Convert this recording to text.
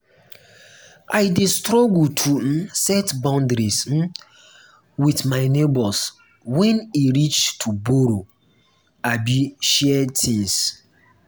i dey struggle to um set boundaries um with um my neighbors wen e reach to borrow abi share things.